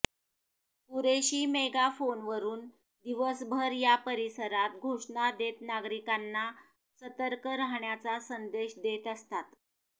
कुरेशी मेगाफोनवरून दिवसभर या परिसरात घोषणा देत नागरिकांना सतर्क राहण्याचा संदेश देत असतात